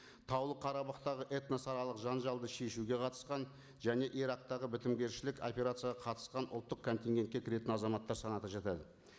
таулы қарабахтағы этносаралық жанжалды шешуге қатысқан және ирактағы бітімгершілік операцияға қатысқан ұлттық контингентке кіретін азаматтар санаты жатады